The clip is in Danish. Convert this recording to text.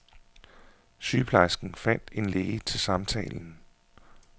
Sygeplejersken fandt en læge til samtalen.